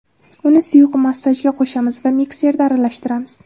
Uni suyuq massaga qo‘shamiz va mikserda aralashtiramiz.